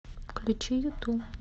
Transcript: включи юту